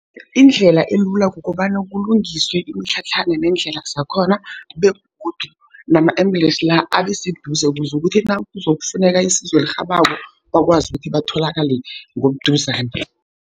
Indlela elula kukobana kulungiswe imitlhatlhana nendlela zakhona, begodu nama-ambulensi la abeseduze ukuze kuthi nakuzokufuneka isizo elirhabako bakwazi ukuthi batholakale ngobuduzane.